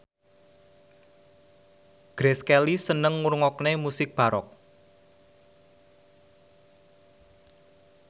Grace Kelly seneng ngrungokne musik baroque